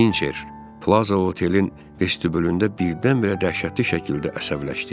Hincer Plaza otelin vestibülündə birdən-birə dəhşətli şəkildə əsəbləşdi.